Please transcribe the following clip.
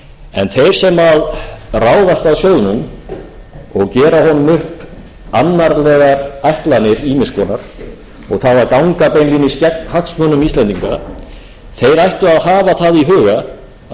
en þeir sem ráðast að sjóðnum og gera honum upp annarlegar ætlanir ýmiss konar og það að ganga beinlínis gegn hagsmunum íslendinga þeir ættu að hafa það í huga að alþjóðagjaldeyrissjóðinn er